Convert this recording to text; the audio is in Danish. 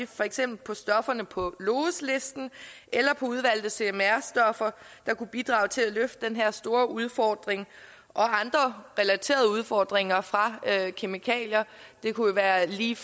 for eksempel på stofferne på lous listen eller på udvalgte cmr stoffer der kunne bidrage til at løfte den her store udfordring og andre relaterede udfordringer fra kemikalier det kunne være lige